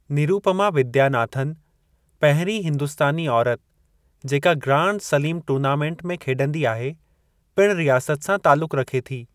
नीरूपमा वीदयानाथन, पहिरीं हिंदुस्तानी औरत जेका ग्रांड सलीमु टूर्नामेंट में खेॾंदी आहे, पिणु रियासत सां तालुकु रखे थी।